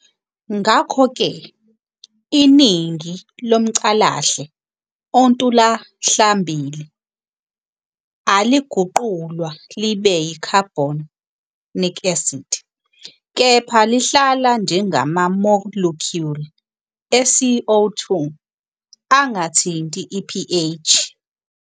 Ngakho-ke, iningi lomcalahle ontuhlambili aliguqulwa libe yi-carbonic acid, kepha lihlala njengama- molecule e-CO 2, angathinti i-pH.